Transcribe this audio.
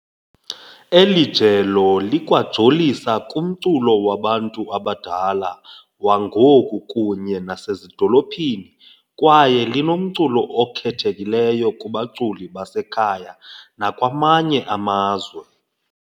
Eli jelo likwajolisa kumculo wabantu abadala wangoku kunye nasezidolophini kwaye linomculo okhethekileyo kubaculi basekhaya nakwamanye amazwe.